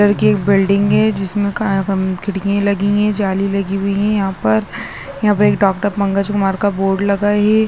Colour की एक building है जिसमें का खिड़कियां लगी है जाली लगी हुई है यहां पर यहाँ पर एक डॉ पंकज कुमार का बोर्ड लगा है।